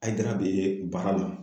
Haidara bee baara la